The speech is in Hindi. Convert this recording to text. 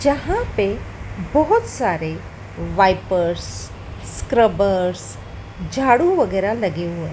जहां पे बहोत सारे वॉइपर्स स्क्रबर्स झाड़ू वगैरा लगे हुए--